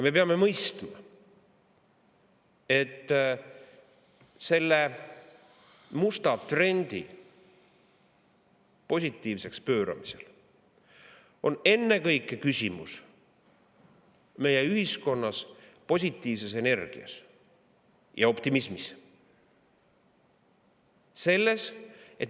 Me peame mõistma, et selle musta trendi positiivseks pööramisel on küsimus ennekõike meie ühiskonna positiivses energias ja optimismis.